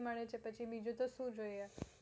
મળે છે તો બીજું શું જોયે